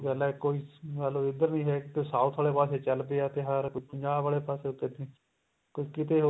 ਗੱਲ ਏ ਕੋਈ ਮੰਨ ਲੋ ਇੱਧਰ ਵੀ ਹੈਗੇ ਤੇ south ਵਾਲੇ ਪਾਸੇ ਚੱਲ ਪਿਆ ਤਿਉਹਾਰ ਪੰਜਾਬ ਵਾਲੇ ਪਾਸੇ ਤੁਰਗੇ ਤੇ ਕੀਤੇ